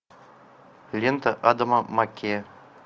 лента адама маккея